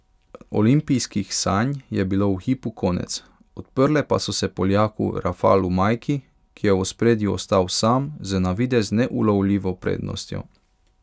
Olimpijskih sanj je bilo v hipu konec, odprle pa so se Poljaku Rafalu Majki, ki je v ospredju ostal sam z navidez neulovljivo prednostjo.